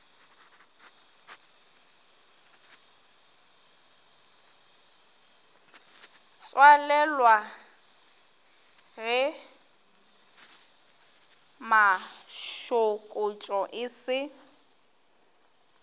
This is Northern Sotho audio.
tswalelwa ge mašokotšo e se